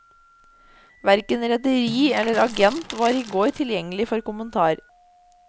Hverken rederi eller agent var i går tilgjengelig for kommentar.